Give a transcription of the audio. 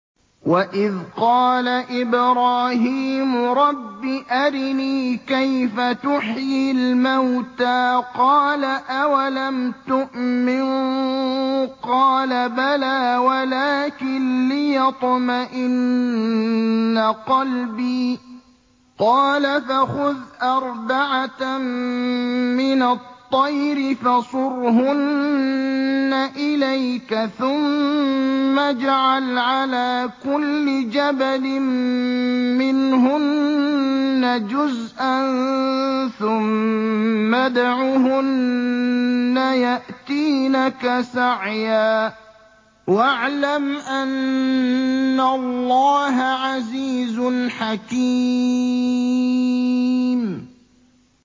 وَإِذْ قَالَ إِبْرَاهِيمُ رَبِّ أَرِنِي كَيْفَ تُحْيِي الْمَوْتَىٰ ۖ قَالَ أَوَلَمْ تُؤْمِن ۖ قَالَ بَلَىٰ وَلَٰكِن لِّيَطْمَئِنَّ قَلْبِي ۖ قَالَ فَخُذْ أَرْبَعَةً مِّنَ الطَّيْرِ فَصُرْهُنَّ إِلَيْكَ ثُمَّ اجْعَلْ عَلَىٰ كُلِّ جَبَلٍ مِّنْهُنَّ جُزْءًا ثُمَّ ادْعُهُنَّ يَأْتِينَكَ سَعْيًا ۚ وَاعْلَمْ أَنَّ اللَّهَ عَزِيزٌ حَكِيمٌ